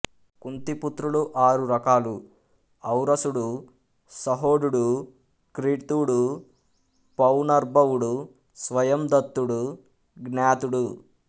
కుంతీ పుత్రులు ఆరు రకాలు ఔరసుడు సహోఢుడు క్రీతుడు పౌనర్భవుడు స్వయందత్తుడు జ్ఞాతుడు